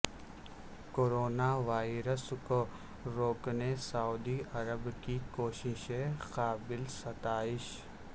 corona virus کو روکنے سعودی عرب کی کوششیں قابل ستائش